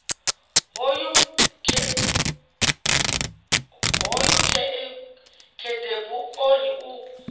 hoyu khedebu o ri u